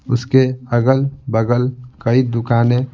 उसके अगल-बगल कई दुकानें --